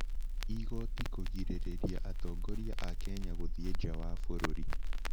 Igoti kũgirĩrĩria atongoria a Kenya gũthiĩ nja wa bũrũri.